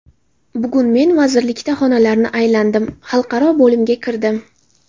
Bugun men vazirlikda xonalarni aylandim, xalqaro bo‘limga kirdim.